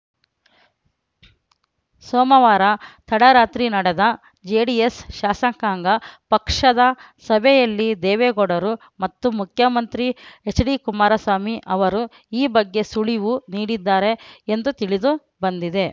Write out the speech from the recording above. ಸೋಮವಾರ ತಡರಾತ್ರಿ ನಡೆದ ಜೆಡಿಎಸ್‌ ಶಾಸಕಾಂಗ ಪಕ್ಷದ ಸಭೆಯಲ್ಲಿ ದೇವೇಗೌಡರು ಮತ್ತು ಮುಖ್ಯಮಂತ್ರಿ ಎಚ್‌ಡಿಕುಮಾರಸ್ವಾಮಿ ಅವರು ಈ ಬಗ್ಗೆ ಸುಳಿವು ನೀಡಿದ್ದಾರೆ ಎಂದು ತಿಳಿದು ಬಂದಿದೆ